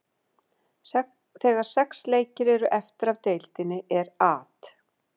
Þegar sex leikir eru eftir af deildinni er At.